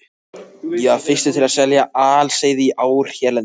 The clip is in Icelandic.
Ég var fyrstur til að selja aliseiði í ár hérlendis.